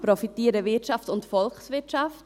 Profitieren Wirtschaft und Volkswirtschaft?